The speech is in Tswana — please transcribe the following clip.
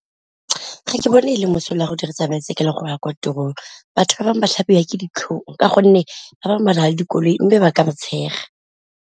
Ga ke bone go le mosola go dirisa baesekele go ya ko tirong, batho ba bangwe ba tlhabiwa ke ditlhong ka gonne batho ba bangwe ba na le dikoloi mme ba ka ba tshega.